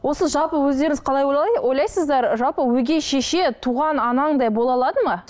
осы жалпы өздеріңіз қалай ойлайсыздар жалпы өгей шеше туған анаңдай бола алады ма